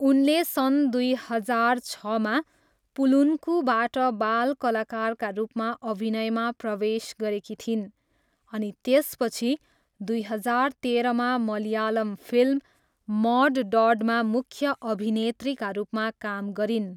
उनले सन् दुई हजार छमा 'पलुन्कू'बाट बाल कलाकारका रूपमा अभिनयमा प्रवेश गरेकी थिइन् अनि त्यसपछि दुई हजार तेह्रमा मलयालम फिल्म 'मड डड'मा मुख्य अभिनेत्रीका रूपमा काम गरिन्।